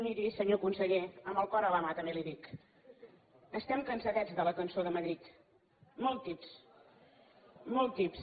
miri senyor conseller amb el cor a la mà també li ho dic estem cansadets de la cançó de madrid molt tips molt tips